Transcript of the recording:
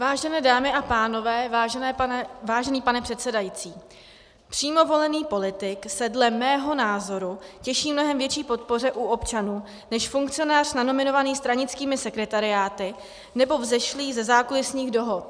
Vážené dámy a pánové, vážený pane předsedající, přímo volený politik se dle mého názoru těší mnohem větší podpoře u občanů než funkcionář nanominovaný stranickými sekretariáty nebo vzešlý ze zákulisních dohod.